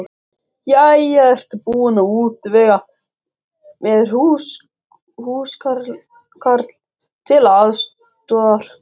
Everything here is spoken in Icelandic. Jæja, ertu búin að útvega mér húskarl til aðstoðar?